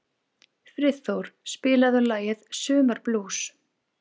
Friðþór, spilaðu lagið „Sumarblús“.